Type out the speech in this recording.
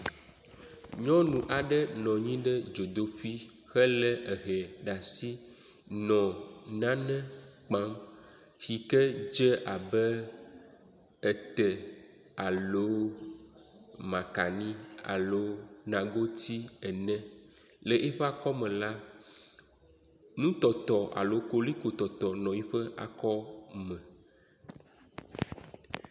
Nyɔnu aɖe nɔ anyi ɖe dzodoƒe hele ehɛ ɖe asi nɔ nane kpam si ke de abe ete alo makani alo nagoti ene. Le eƒe akɔme la, nutɔtɔ alo kolikotɔtɔ nɔ yiƒe akɔme.